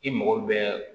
I mago bɛ